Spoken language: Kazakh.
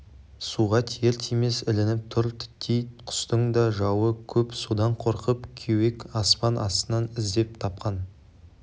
суға тиер-тимес ілініп тұр титтей құстың да жауы көп содан қорқып кеуек аспан астынан іздеп тапқан